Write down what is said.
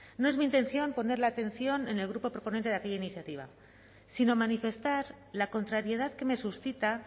no es mi intención poner la atención en el grupo proponente de aquella iniciativa sino manifestar la contrariedad que me suscita